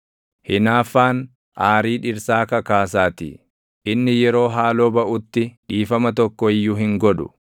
Hinaaffaan aarii dhirsaa kakaasaatii; inni yeroo haaloo baʼutti dhiifama tokko iyyuu hin godhu.